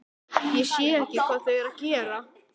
Ég sé ekki hvað þau eru að gera.